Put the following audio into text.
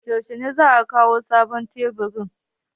Yaushe ne za a kawo sabon taburin?